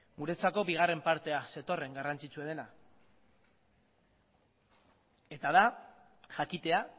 guretzako bigarren partea zetorren garrantzitsuena dena jakitea